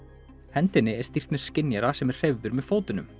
hendinni er stýrt með skynjara sem er hreyfður með fótunum